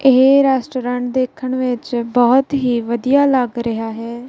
ਇਹ ਰੈਸਟੂਰੈਂਟ ਦੇਖਣ ਵਿੱਚ ਬਹੁਤ ਹੀ ਵਧੀਆ ਲੱਗ ਰਿਹਾ ਹੈ।